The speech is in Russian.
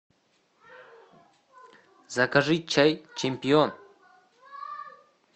закажи чай чемпион